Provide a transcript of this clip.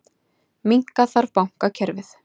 Minnka þarf bankakerfið